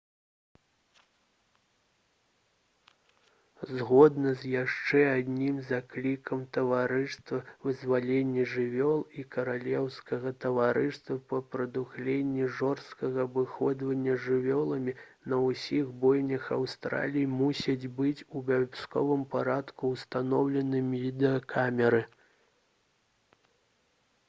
згодна з яшчэ адным заклікам таварыства вызвалення жывёл і каралеўскага таварыства па прадухіленні жорсткага абыходжання з жывёламі на ўсіх бойнях аўстраліі мусяць быць у абавязковым парадку ўстаноўлены відэакамеры